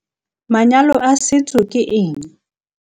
Vuk- Manyalo a setso ke eng?